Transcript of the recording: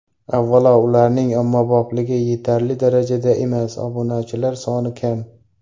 Avvalo, ularning ommabopligi yetarli darajada emas, obunachilar soni kam.